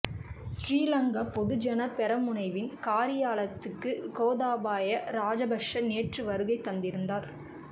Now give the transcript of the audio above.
ஸ்ரீ லங்கா பொதுஜன பெரமுனவின் காரியாலயத்துக்கு கோத்தாபய ராஜபக்ஷ நேற்று வருகை தந்திருந்தார்